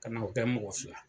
Kana o kɛ mɔgɔ si la.